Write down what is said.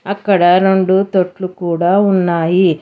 అక్కడ రెండు తొట్లు కూడా ఉన్నాయి.